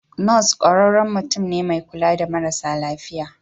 Nurse ƙwararren mutum ne mai kula da marasa lafiya.